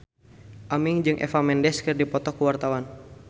Aming jeung Eva Mendes keur dipoto ku wartawan